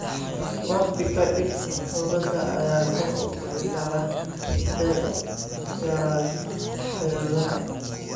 Waqti ka dib, huurada ayaa kor u kici karta si ay u yaraato xididadaada.